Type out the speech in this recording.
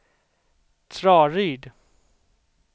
Traryd